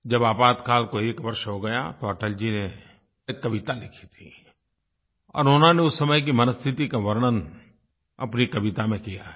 जब आपातकाल को एक वर्ष हो गया तो अटल जी ने एक कविता लिखी थी और उन्होंने उस समय की मनःस्थिति का वर्णन अपनी कविता में किया है